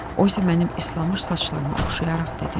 O isə mənim islanmış saçlarıma oxşayaraq dedi: